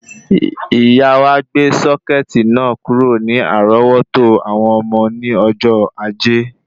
Ìyá wa gbé sọ́kẹ̀tì náà kúrò ní àrọ́wọ́tó àwọn ọmọ ní ọjọ́ Ajé